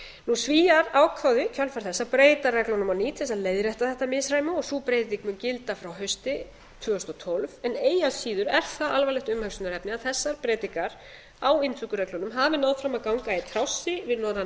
svíar ákváðu í kjölfar þessa að breyta reglunum á nýt til þess að leiðrétta þetta misræmi sú breyting mun gilda frá hausti tvö þúsund og tólf en eigi að síður er það alvarlegt umhugsunarefni að þessar breytingar á inntökureglunum hafi náð fram að ganga í trássi við norrænan milliríkjasamning og